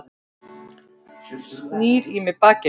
Snýr í mig bakinu.